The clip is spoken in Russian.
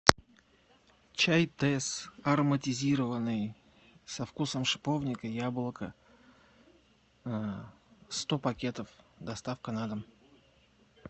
чай тесс ароматизированный со вкусом шиповника яблока сто пакетов доставка на дом